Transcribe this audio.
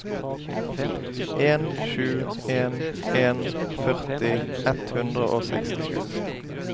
en sju en en førti ett hundre og sekstisju